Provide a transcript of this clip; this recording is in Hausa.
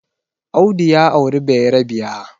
Audu ya auri bayerabiya